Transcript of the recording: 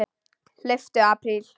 Hlauptu apríl.